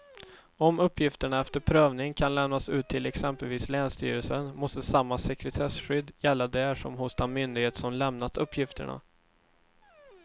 Om uppgifterna efter prövning kan lämnas ut till exempelvis länsstyrelsen måste samma sekretesskydd gälla där som hos den myndighet som lämnat uppgifterna.